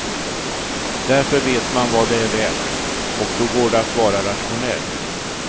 Därför vet man vad det är värt, och då går det att vara rationell.